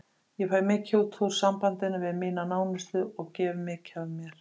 Ég fæ mikið út úr sambandinu við mína nánustu og gef mikið af mér.